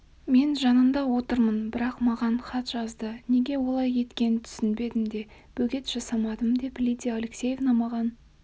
мен жанында отырмын бірақ маған хат жазды неге олай еткенін түсінбедім де бөгет жасамадым деп лидия алексеевна маған